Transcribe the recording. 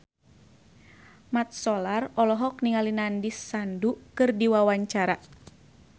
Mat Solar olohok ningali Nandish Sandhu keur diwawancara